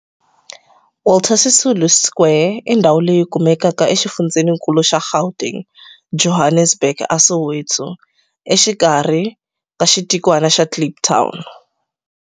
Walter Sisulu Square i ndhawu leyi kumekaka exifundzheni-nkulu xa Gauteng, Johannesburg, a Soweto, exikarhi ka xitikwana xa Kliptown.